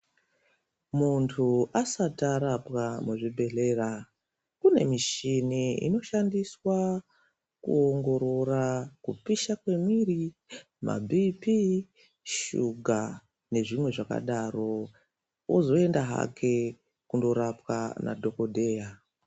Muntu asati arapwa muzvibhedhlera, kunemishini inoshandiswa kuwongorora kupisha kwemwiri, mabhiphi, shuga nezvimwe zvakadaro. Ozoyenda hake kundorapwa nadhokodheya.